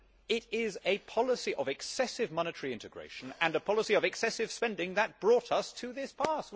It is a policy of excessive monetary integration and a policy of excessive spending that brought us to this pass